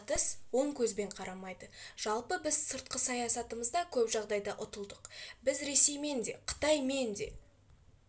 батыс оң көзбен қарамайды жалпы біз сыртқы саясатымызда көп жағдайда ұтылдық бізге ресеймен де қытаймен